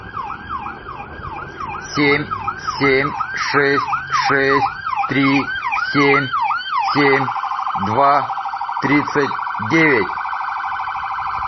семь семь шесть шесть три семь семь два тридцать девять